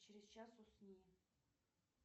через час усни